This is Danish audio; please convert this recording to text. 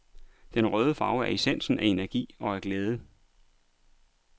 Den røde farve er essensen af energi og af glæde.